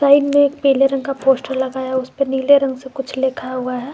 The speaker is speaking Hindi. साइड में एक पीले रंग का पोस्टर लगाया उसपे नीले रंग से कुछ लिखा हुआ है।